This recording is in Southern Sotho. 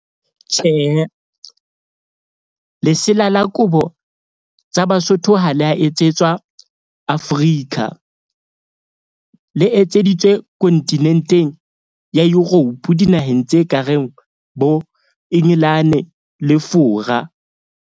Tjhehe, lesela la kobo tsa Basotho ha le a etsetswa Africa, le etseditswe kontinenteng ya Europe dinaheng tse ka reng bo Engelane le Fora.